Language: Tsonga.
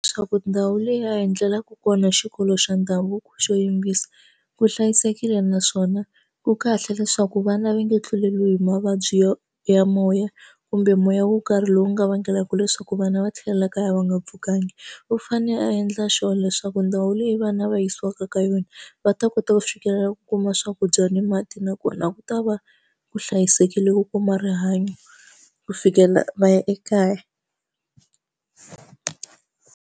Leswaku ndhawu leyi a hi endlelaku kona xikolo xa ndhavuko xo yimbisa ku hlayisekile naswona ku kahle leswaku vana va nga tluleriwi hi mavabyi ya ya moya kumbe moya wo karhi lowu nga vangelaka leswaku vana va tlhelela kaya va nga pfukanga u fane a endla sure leswaku ndhawu leyi vanhu lava yisiwaka ka yona va ta kota ku fikelela ku kuma swakudya ni mati nakona ku ta va ku hlayisekile ku kuma rihanyo ku fikelela va ya ekaya.